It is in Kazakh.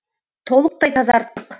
толықтай тазарттық